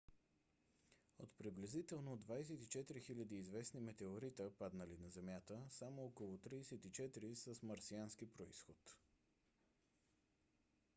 от приблизително 24 000 известни метеорита паднали на земята само около 34 са с марсиански произход